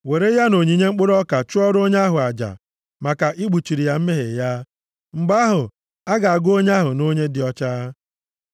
were ya na onyinye mkpụrụ ọka chụọrọ onye ahụ aja, maka ikpuchiri ya mmehie ya. Mgbe ahụ, a ga-agụ onye ahụ nʼonye dị ọcha.